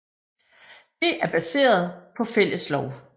Det er baseret på fælles lov